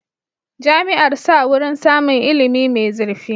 Jami'ar sa wurin samun ilimi mai zurfi.